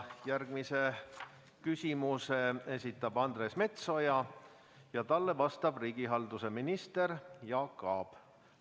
Järgmise küsimuse esitab Andres Metsoja ja talle vastab riigihalduse minister Jaak Aab.